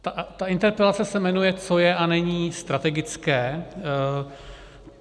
Ta interpelace se jmenuje "co je a není strategické".